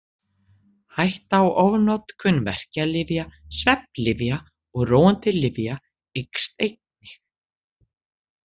Hætta á ofnotkun verkjalyfja, svefnlyfja og róandi lyfja eykst einnig.